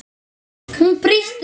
Hún brýst um.